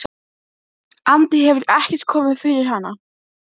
frekar vinnugallann sparifötin náttfötin af hverju jarða allar þessar sálmabækur?